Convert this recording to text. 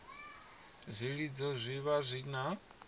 zwilidzo zwi vha zwi na